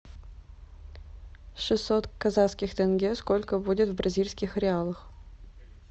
шестьсот казахских тенге сколько будет в бразильских реалах